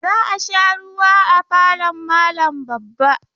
Za a sha ruwa a falon malam babba.